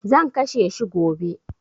Zan kashe shi gobe.